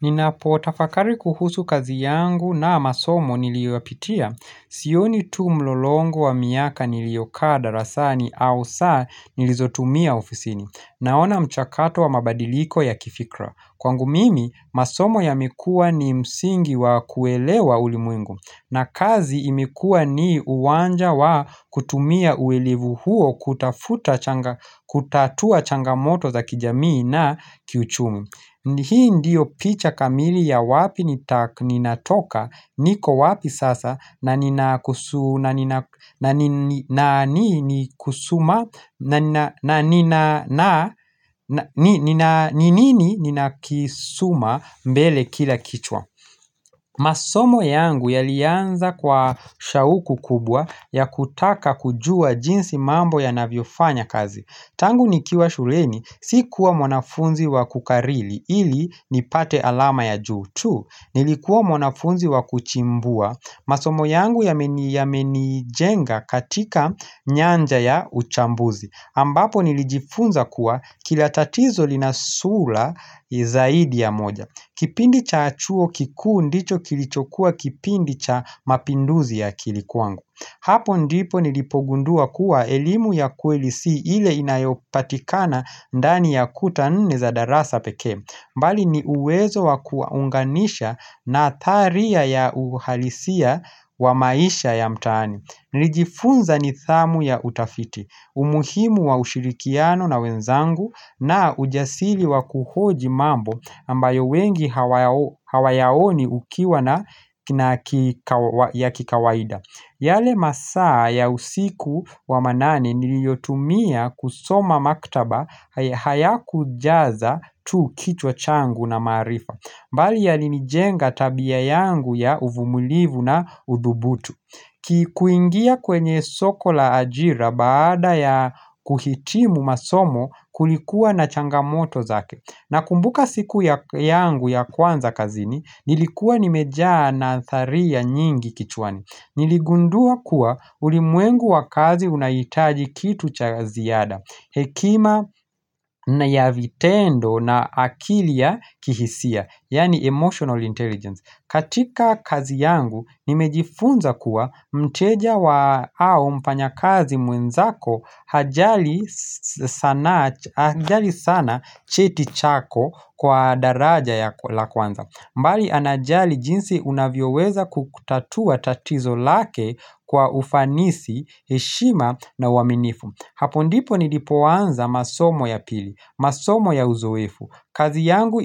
Ninapota fakari kuhusu kazi yangu na masomo niliyoyapitia. Sioni tu mlolongo wa miaka nilikaa darasani au saa nilizotumia ofisini. Naona mchakato wa mabadiliko ya kifikra. Kwangu mimi, masomo ya mekuwa ni msingi wa kuelewa ulimwengu na kazi imekuwa ni uwanja wa kutumia uelivu huo kutatua changamoto za kijamii na kiuchumu. Hii ndiyo picha kamili ya wapi ni natoka niko wapi sasa na ni nini nikasuma mbele kila kichwa. Masomo yangu ya lianza kwa shauku kubwa ya kutaka kujua jinsi mambo ya navyofanya kazi. Tangu nikiwa shuleni si kuwa mwanafunzi wa kukariri ili nipate alama ya juu tu Nilikuwa mwanafunzi wa kuchimbua masomo yangu yamenijenga katika nyanja ya uchambuzi ambapo nilijifunza kuwa kilatatizo linasula zaidi ya moja Kipindi cha chuo kikuu ndicho kilicho kuwa kipindi cha mapinduzi ya akili kwangu Hapo ndipo nilipogundua kuwa elimu ya kweli si ile inayopatikana ndani ya kuta nne za darasa pekee mbali ni uwezo wa kuunganisha na tharia ya uhalisia wa maisha ya mtaani Nilijifunza nidhamu ya utafiti, umuhimu wa ushirikiano na wenzangu na ujasiri wa kuhoji mambo ambayo wengi hawayaoni ukiwa na kikawaida yale masaa ya usiku wa manane niliyotumia kusoma maktaba hayaku jaza tu kichwa changu na maarifa mbali ya lini jenga tabia yangu ya uvumulivu na udhubutu kuingia kwenye sokola ajira baada ya kuhitimu masomo kulikuwa na changamoto zake na kumbuka siku ya yangu ya kwanza kazini nilikuwa nimejaa natharia nyingi kichwani Niligundua kuwa ulimwengu wa kazi unahitaji kitu cha ziada Hekima na yavitendo na akilia ya kihisia Yaani emotional intelligence katika kazi yangu nimejifunza kuwa mteja wa au mfanya kazi mwenzako Hajali sana cheti chako kwa daraja ya kwanza mbali anajali jinsi unavyoweza kutatua tatizo lake kwa ufanisi, heshima na uaminifu. Hapo ndipo nilipoanza masomo ya pili, masomo ya uzoefu. Kazi yangu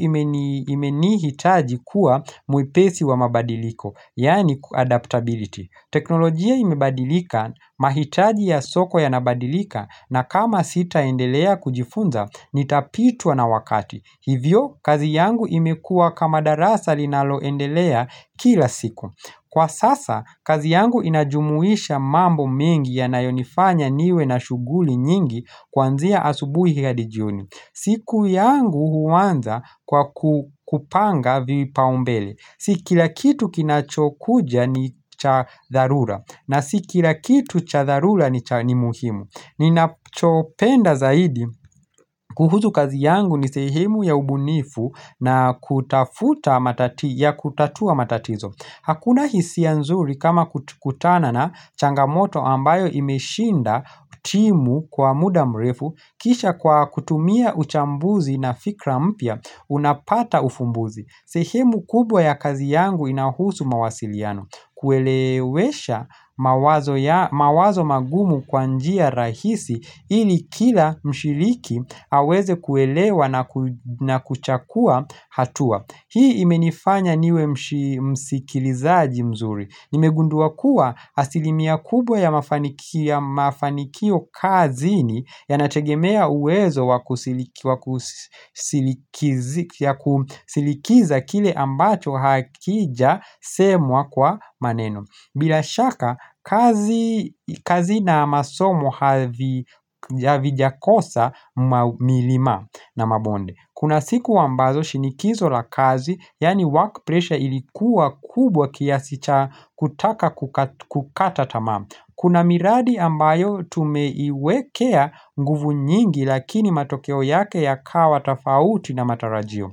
imenihitaji kuwa mwepesi wa mabadiliko, yaani adaptability. Teknolojia imebadilika, mahitaji ya soko ya nabadilika na kama sita endelea kujifunza, nitapitwa na wakati. Hivyo, kazi yangu imekuwa kamadarasa linaloendelea kila siku. Kwa sasa, kazi yangu inajumuisha mambo mengi ya nayonifanya niwe na shughuli nyingi kwanzia asubuhi hadi jioni siku yangu huanza kwa kupanga vipaumbele. Si kila kitu kinachokuja ni chadharura. Na sikila kitu chadharura ni muhimu. Ninachopenda zaidi kuhusu kazi yangu ni sehemu ya ubunifu na kutafuta ya kutatua matatizo Hakuna hisia nzuri kama kutana na changamoto ambayo imeshinda timu kwa muda mrefu kisha kwa kutumia uchambuzi na fikra mpya unapata uvumbuzi sehemu kubwa ya kazi yangu inahusu mawasiliano Kuelewesha mawazo magumu kwa njia rahisi ili kila mshiriki aweze kuelewa na kuchakua hatua Hii imenifanya niwe msikilizaji mzuri Nimegundua kuwa asilimia kubwa ya mafanikio kazi ni Yanategemea uwezo wa kusikiliza kile ambacho hakija semwa kwa maneno bila shaka kazi na masomo havijakosa mamilima na mabonde Kuna siku ambazo shinikizo la kazi Yaani work pressure ilikuwa kubwa kiasi cha kutaka kukata tamaa Kuna miradi ambayo tumeiwekea nguvu nyingi lakini matokeo yake ya kawa tafauti na matarajio.